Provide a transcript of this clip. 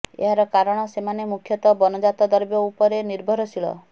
ଏହାର କାରଣ ସେମାନେ ମୁଖ୍ୟତଃ ବନଜାତ ଦ୍ରବ୍ୟ ଉପରେ ନିର୍ଭରଶୀଳ